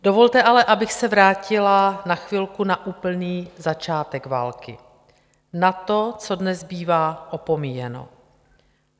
Dovolte ale, abych se vrátila na chvilku na úplný začátek války, na to, co dnes bývá opomíjeno.